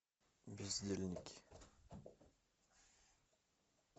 бездельники